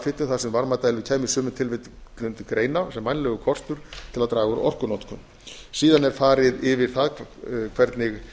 rafhitun þar sem varmadælur kæmu í sumum tilfellum til greina sem vænlegur kostur til að draga úr orkunotkun síðan er farið yfir það hvernig